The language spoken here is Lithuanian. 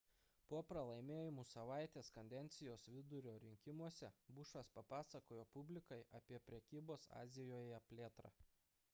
po pralaimėjimų savaitės kadencijos vidurio rinkimuose bušas papasakojo publikai apie prekybos azijoje plėtrą